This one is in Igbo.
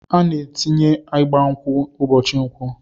Ana atinye igba nkwụ ubochi nkwọ